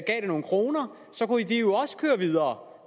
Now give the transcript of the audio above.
gav det nogle kroner så kunne de jo også køre videre